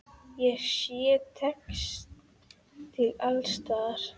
Ég sé textíl alls staðar.